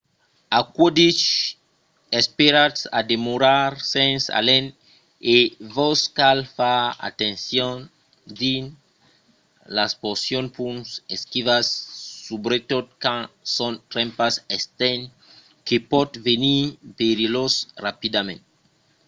aquò dich esperatz a demorar sens alen e vos cal far atencion dins las porcions pus esquivas subretot quand son trempas estent que pòt venir perilhós rapidament